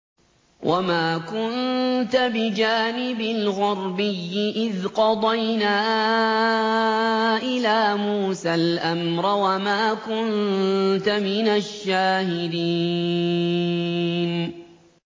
وَمَا كُنتَ بِجَانِبِ الْغَرْبِيِّ إِذْ قَضَيْنَا إِلَىٰ مُوسَى الْأَمْرَ وَمَا كُنتَ مِنَ الشَّاهِدِينَ